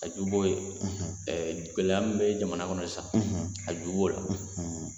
A ju b'o ye gɛlɛya min bɛ jamana kɔnɔ sisan a ju b'o de la.